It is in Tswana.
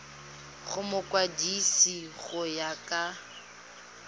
go mokwadise go ya ka